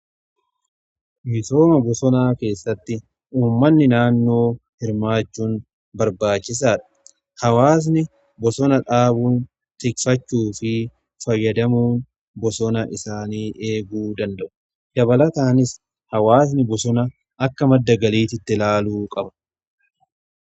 misooma bosonaa keessatti uummanni naannoo hirmaachuun barbaachisaa dha. hawaasni bosona dhaabuun tikfachuu fi fayyadamuun bosona isaanii eeguu danda'u. dabalataanis hawaasni bosona akka madda galiitti ilaaluu qaba.